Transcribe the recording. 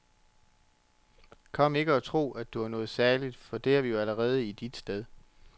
Kom ikke her og tro, at du er noget særligt, for det er vi jo allerede i dit sted.